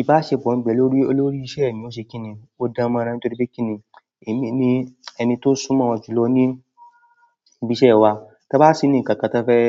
Ìbáṣepọ̀ mi pẹ̀lú olórí iṣẹ́ mi ó ṣe kíni. Ó dánmọ́rán nítorí pé kíni èmi ni ẹni tó súnmọ́ won jùlọ ní ibi iṣẹ́ wa. Tí a bá ní ǹkan kan tí won fẹ́